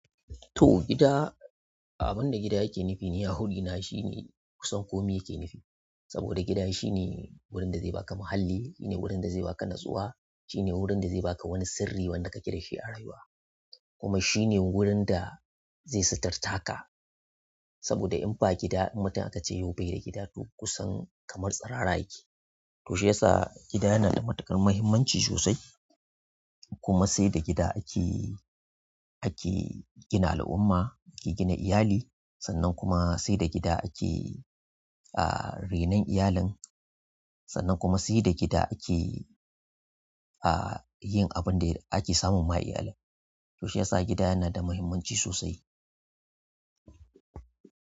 To, gida, abin da gida yake nufi ni a wurina shine kusan komai yake nufi. Saboda gida shine wurin da zai baka muhalli, gurin da zai baka nutsuwa, shine wurin da zai baka wani sirri wanda kake dashi a rayuwa kuma shine wurin da zai suturtaka. Saboda in ba gida in mutum akace yau baida gida to kusan kamar tsirara yake to shiyasa gida yana da matuƙar muhimmanci sosai. Kuma sai da gida ake, ake gina al'umma, ake gina iyali. Sannan kuma sai da gida ake, ah, renon iyalin. Sannan kuma sai da gida ake, ah, yin abin da ake samun ma iyalin. To shiyasa gida yana da muhimmanci sosai.